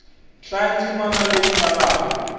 hlaya ndzimana leyi nga laha